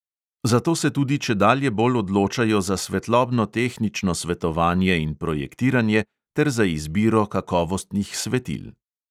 Zato se tudi čedalje bolj odločajo za svetlobno-tehnično svetovanje in projektiranje ter za izbiro kakovostnih svetil.